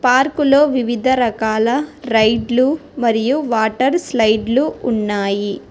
పార్కులో వివిధ రకాల రైడ్లు మరియు వాటర్ స్లయిడ్ లు ఉన్నాయి.